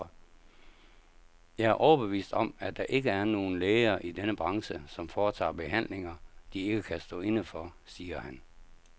Jeg er overbevist om, at der ikke er nogen læger i denne branche, som foretager behandlinger, de ikke kan stå inde for, siger han.